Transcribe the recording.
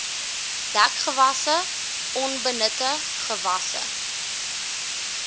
dekgewasse onbenutte gewasse